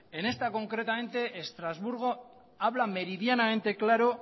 en esta concretamente estrasburgo habla meridianamente claro